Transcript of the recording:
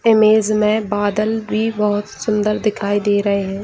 Image में बदल भी बहुत सुंदर दिखाई दे रहे हैं।